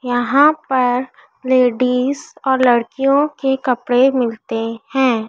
यहां पर लेडीज और लड़कियों के कपड़े मिलते है।